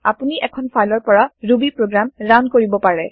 আপুনি এখন ফাইলৰ পৰা ৰুবী প্ৰগ্ৰেম ৰান কৰিব পাৰে